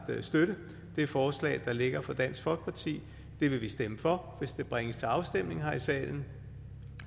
støtte det forslag der ligger fra dansk folkeparti det vil vi stemme for hvis det bringes til afstemning her i salen